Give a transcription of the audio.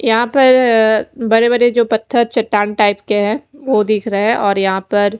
यहाँ पर बड़े बड़े पत्थर जो चट्टान टाइप के है वो दिख रहे है और यहाँ पर--